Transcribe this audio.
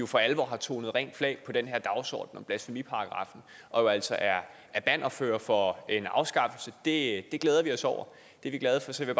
for alvor har tonet rent flag på den her dagsorden om blasfemiparagraffen og altså er er bannerfører for en afskaffelse det glæder vi os over det er vi glade for så jeg